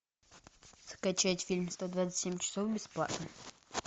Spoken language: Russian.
скачать фильм сто двадцать семь часов бесплатно